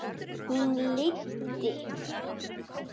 Hún leiddi